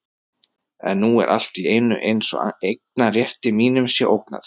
En nú er allt í einu eins og eignarrétti mínum sé ógnað.